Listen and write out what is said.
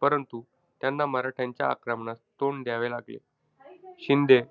परंतु त्यांना मराठ्यांच्या आक्रमणास तोंड द्यावे लागले. शिंदे,